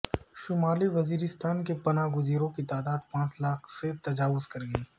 شمالی وزیرستان کے پناہ گزینوں کی تعداد پانچ لاکھ سے تجاوز کرگئی